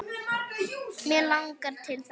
Mig langar til þess.